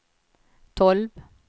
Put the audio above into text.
tolv